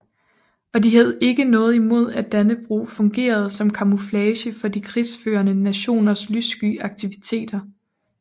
Og de havde ikke noget imod at Dannebrog fungerede som kamouflage for de krigsførende nationers lyssky aktiviteter